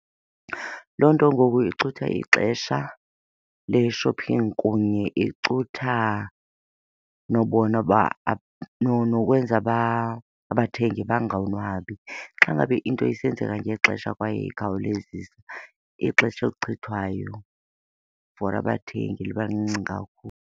Loo nto ngoku icutha ixesha le-shopping kunye icutha nobona uba , nokwenza uba abathengi bangonwabi. Xa ngabe into isenzeka ngexesha kwaye ikhawulezisa, ixesha elichithwayo for abathengi liba lincinci kakhulu.